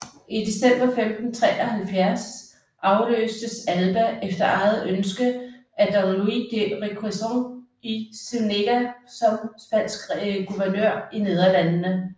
I december 1573 afløstes Alba efter eget ønske af don Luis de Requesens y Zuñiga som spansk guvernør i Nederlandene